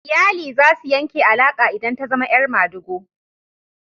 Iyali za su yanke alaka idan ta zama 'yar madigo.